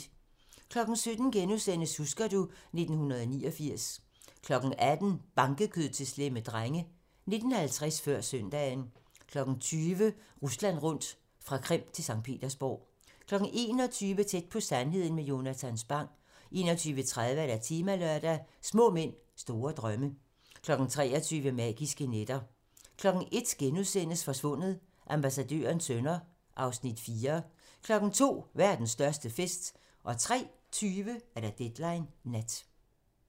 17:00: Husker du ... 1989 * 18:00: Bankekød til slemme drenge 19:50: Før søndagen 20:00: Rusland rundt - fra Krim til Skt. Petersborg 21:00: Tæt på sandheden med Jonatan Spang 21:30: Temalørdag: Små mænd, store drømme 23:00: Magiske nætter 01:00: Forsvundet: Ambassadørens sønner (Afs. 4)* 02:00: Verdens største fest 03:20: Deadline nat